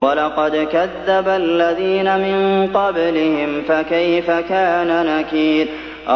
وَلَقَدْ كَذَّبَ الَّذِينَ مِن قَبْلِهِمْ فَكَيْفَ كَانَ نَكِيرِ